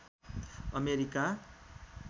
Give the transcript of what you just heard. America